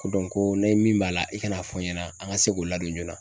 Ko ko ni min b'a la, i ka na fɔ n ɲɛna an ka se k'o ladon joona.